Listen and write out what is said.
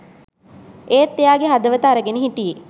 ඒත් එයාගෙ හදවත අරගෙන හිටියෙ